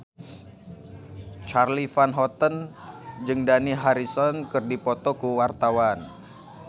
Charly Van Houten jeung Dani Harrison keur dipoto ku wartawan